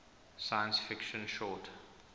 science fiction short